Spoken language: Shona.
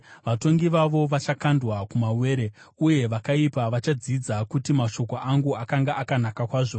Vatongi vavo vachakandwa kumawere, uye vakaipa vachadzidza kuti mashoko angu akanga akanaka kwazvo.